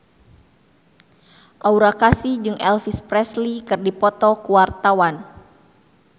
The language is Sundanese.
Aura Kasih jeung Elvis Presley keur dipoto ku wartawan